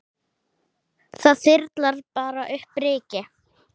Það þyrlar bara upp ryki.